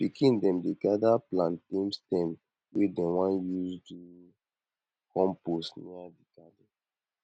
pikin dem dey gather plantain stem wey dem wan use do compost near di garden